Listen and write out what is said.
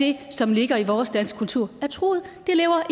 det som ligger i vores danske kultur er truet det lever